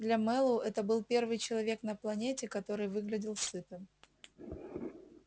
для мэллоу это был первый человек на планете который выглядел сытым